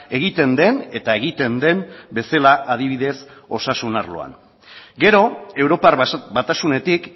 egiten den eta egiten den bezala adibidez osasun arloan gero europar batasunetik